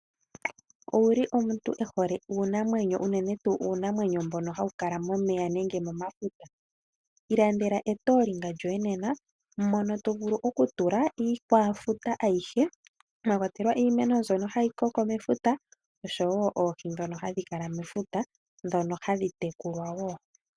Owuli omuntu ehole uunamwenyo unene tu uunamwenyo mbono hawu kala momeya nenge momafuta? Ilandela etolinga lyoye nena mono to vulu okutula iikwafuta ayihe mwa kwatelwa iimeno mbyono hayi koko mefuta oshowo oohi dhono hadhi kala mefuta, dhono hadhi tekulwa wo.